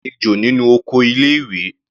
A rí ejò nínú oko ilé ìwé.